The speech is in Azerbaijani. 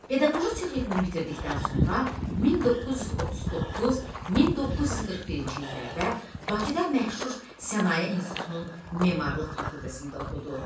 Pedaqoji Texnikumu bitirdikdən sonra 1939-1941-ci illərdə Bakıda məşhur Sənaye İnstitutunun memarlıq fakultəsində oxudu.